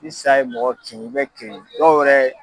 Ni sa ye mɔgɔ kin i bɛ kirin dɔw yɛrɛ